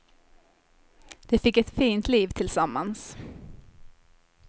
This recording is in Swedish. De fick ett fint liv tillsammans.